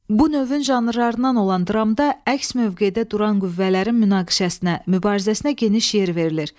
Bu növün janrlarından olan dramda əks mövqedə duran qüvvələrin münaqişəsinə, mübarizəsinə geniş yer verilir.